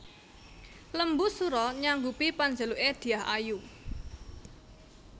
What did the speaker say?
Lembusura nyanggupi panjaluke Dyah Ayu